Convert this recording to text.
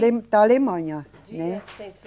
da Alemanha, né.